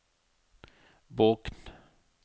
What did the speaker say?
Bokn